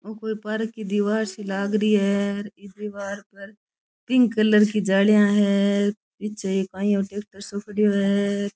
ओ कोई पार्क की दिवार सी लाग री है ई दिवार पर पिंक कलर की जालियां है पीछे काई है एक ओ ट्रेक्टर सो पड़ियो है।